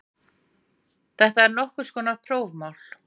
Þetta er nokkurs konar prófmál